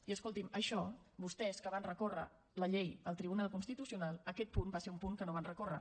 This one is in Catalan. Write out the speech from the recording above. i escolti’m això vostès que van recórrer la llei al tribunal constitucional aquest punt va ser un punt que no van recórrer